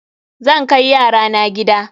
Zan kai yara na gida.